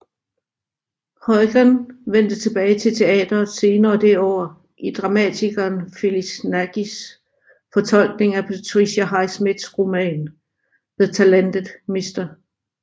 Heughan vendte tilbage til teatret senere det år i dramatikeren Phyllis Nagys fortolkning af Patricia Highsmiths roman The Talented Mr